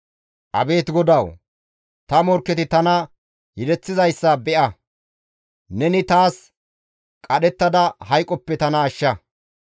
Abeet GODAWU! ta morkketi tana yedeththizayssa be7a. Neni taas qadhettada hayqoppe tana ashsha.